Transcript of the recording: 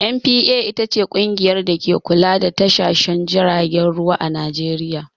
"NPA" ita ce ƙungiyar dake kula da tashoshin jiragen ruwa a Najeriya.